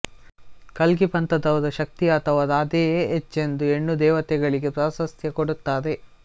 ಕಲ್ಗಿ ಪಂಥದವರು ಶಕ್ತಿ ಅಥವಾ ರಾಧೆಯೇ ಹೆಚ್ಚೆಂದು ಹೆಣ್ಣು ದೇವತೆಗಳಿಗೆ ಪ್ರಾಶಸ್ತ್ಯ ಕೊಡುತ್ತಾರೆ